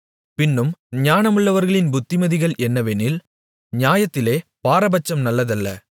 பின்னும் ஞானமுள்ளவர்களின் புத்திமதிகள் என்னவெனில் நியாயத்திலே பாரபட்சம் நல்லதல்ல